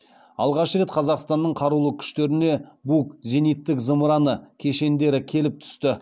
алғаш рет қазақстанның қарулы күштеріне бук зениттік зымыраны кешендері келіп түсті